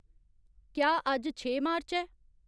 क्या अज्ज छे मार्च ऐ